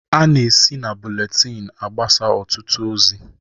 Ana esi na buletin agbasa ọtụtụ ozi.